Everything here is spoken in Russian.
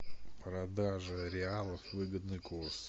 продажа реалов выгодный курс